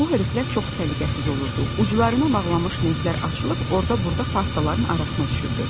Bu hörükələr çox səliqəsiz olurdu, uclarına bağlanmış lentlər açılıb orda-burda partaların arasına düşürdü.